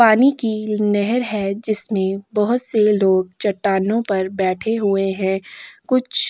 पानी की नहर है जिसमें बहुत से लोग चट्टानों पर बैठे हुए हैं कुछ।